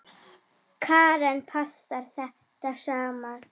Karen: Passar þetta saman?